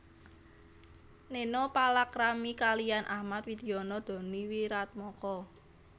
Neno palakrami kaliyan Ahmad Widiono Doni Wiratmoko